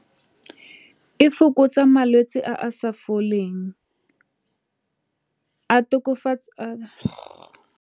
E fokotsa malwetse a a sa foleng a tokafatsa .